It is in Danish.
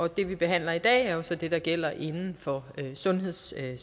det vi behandler i dag er jo så det der gælder inden for sundhedssektoren